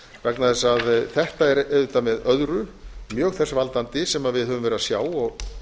vegna þess að þetta er auðvitað með öðru mjög þess valdandi sem við höfum verið að sjá og